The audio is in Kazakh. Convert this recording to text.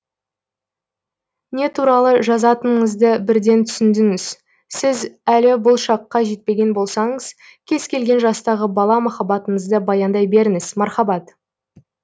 не туралы жазатыныңызды бірден түсіндіңіз сіз әлі бұл шаққа жетпеген болсаңыз кез келген жастағы бала махаббатыңызды баяндай беріңіз мархаббат